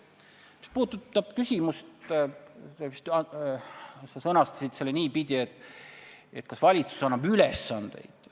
Mis puudutab sinu küsimust – sa sõnastasid selle niipidi, et kas valitsus annab ülesandeid.